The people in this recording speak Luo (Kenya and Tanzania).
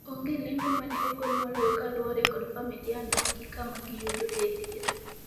onge lendo mane ogol moloyo kaluwore kod familia no gi kama giyudo e thieth